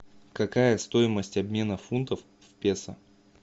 какая стоимость обмена фунтов в песо